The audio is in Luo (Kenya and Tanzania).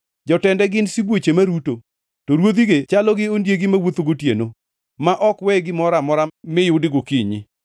Jotende gin sibuoche maruto, to ruodhige chalo gi ondiegi mawuotho gotieno, ma ok we gimoro amora miyudi gokinyi.